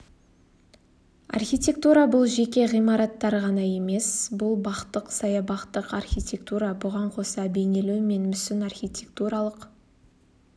архитектура бұл жеке ғимараттар ғана емес бұл бақтық саябақтық архитектура бұған қоса бейнелеу мен мүсін архитектуралық